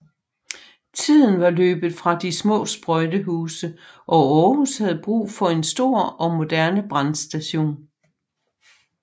Tiden var løbet fra de små sprøjtehuse og Aarhus havde brug for en stor og moderne brandstation